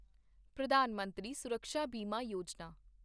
ਪ੍ਰਧਾਨ ਮੰਤਰੀ ਸੁਰਕਸ਼ਾ ਬੀਮਾ ਯੋਜਨਾ